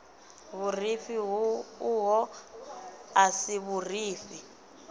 vhurifhi uho a si vhurifhi